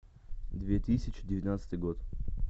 две тысячи девятнадцатый год